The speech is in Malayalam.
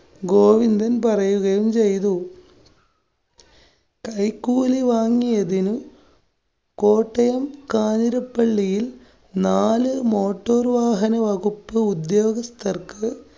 ഗോവിന്ദന്‍ പറയുകയും ചെയ്തു. കൈക്കൂലി വാങ്ങിയതിന് കോട്ടയം കാഞ്ഞിരപ്പള്ളിയില്‍ നാലു motor വാഹന വകുപ്പ് ഉദ്യോഗസ്ഥര്‍ക്ക്